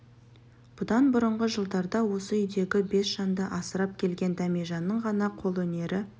бұдан бұрынғы жылдарда осы үйдегі бес жанды асырап келген дәмежанның ғана қолөнері